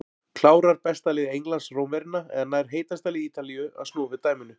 Klárar besta lið Englands Rómverjana eða nær heitasta lið Ítalíu að snúa við dæminu?